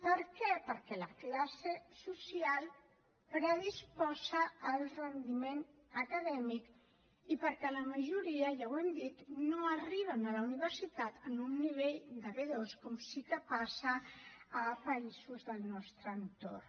per què perquè la classe social predisposa el rendiment acadèmic i perquè la majoria ja ho hem dit no arriben a la universitat amb un nivell de b2 com sí que passa a països del nostre entorn